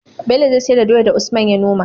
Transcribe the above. Bello zai siyar da doyar da usman ya noma